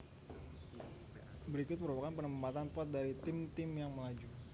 Berikut merupakan penempatan pot dari tim tim yang melaju